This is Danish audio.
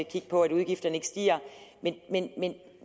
kigge på at udgifterne ikke stiger